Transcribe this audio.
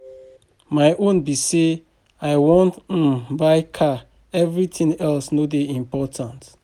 My own be say I wan um buy car everything else no dey important